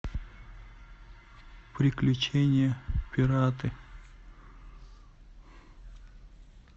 приключения пираты